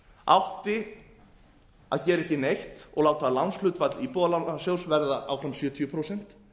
átti að gera ekki neitt og láta lánshlutfall íbúðalánasjóðs verða áfram sjötíu prósent